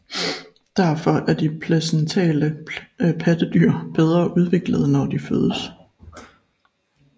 Derfor er de placentale pattedyr bedre udviklede når de fødes